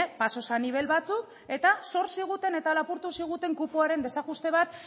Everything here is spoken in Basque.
pasos a nivel batzuk eta zor ziguten eta lapurtu ziguten kupoaren desajuste bat